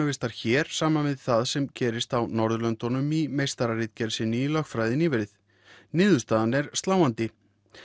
hér saman við það sem gerist á Norðurlöndunum í meistararitgerð sinni í lögfræði nýverið niðurstaðan er sláandi